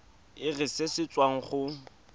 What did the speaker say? irp se se tswang go